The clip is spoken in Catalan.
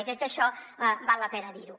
i crec que això val la pena dir ho